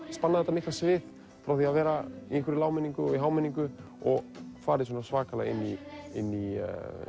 spannað þetta mikla svið frá því að vera í lágmenningu og hámenningu og farið svona svakalega inn í inn í